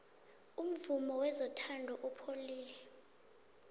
umvumo wezothando upholile